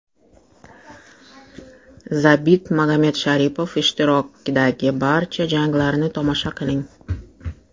Zabit Magomedsharipov ishtirokidagi barcha janglarni tomosha qiling !